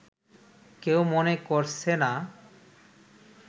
কেউ মনে করছে না